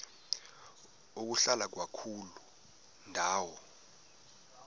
ukuhlala kwakuloo ndawo